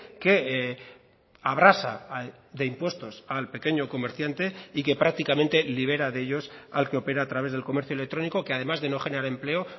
que abrasa de impuestos al pequeño comerciante y que prácticamente libera de ellos al que opera a través del comercio electrónico que además de no generar empleo